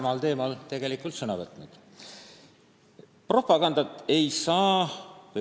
Nii et olgem austavad ja viisakad üksteise vastu.